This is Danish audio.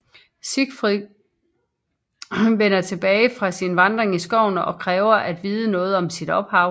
Siegfried vender tilbage fra sin vandring i skoven og kræver at vide noget om sit ophav